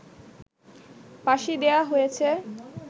ফাঁসি দেয়া হয়েছে